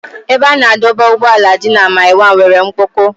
Ebe a na-adọba ụgbọala dị na mile 1 nwere mkpọkọ.